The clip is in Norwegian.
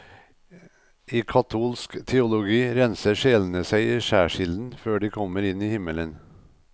I katolsk teologi renser sjelene seg i skjærsilden før de kommer inn i himmelen.